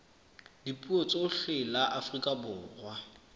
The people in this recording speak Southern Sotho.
dipuo tsohle la afrika borwa